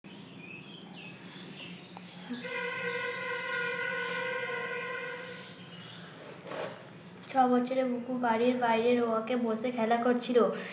ছয় বছরের বুকু বাড়ির বাইরে রোয়াকে বসে খেলা করছিল।